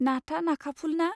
नाथआ नाखाफुल, ना?